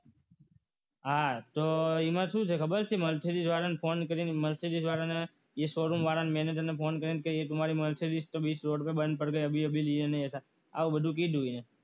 આતો એમાં શું છે ખબર છે mercedes વાળાને ફોન કરીને mercedes વાળાને એ શોરૂમ વાળાને મેનેજર ને ફોન કરીને કે આ તો મારી mercedes તો બીજમેં બંધ પડી ગઈ એસા એવું કીધું એને